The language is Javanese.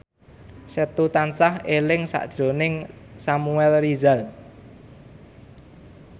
Setu tansah eling sakjroning Samuel Rizal